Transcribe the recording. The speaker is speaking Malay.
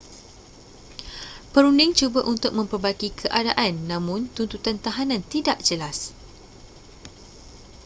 perunding cuba untuk memperbaiki keadaan namun tuntutan tahanan tidak jelas